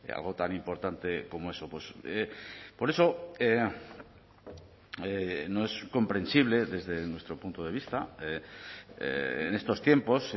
algo tan importante como eso por eso no es comprensible desde nuestro punto de vista en estos tiempos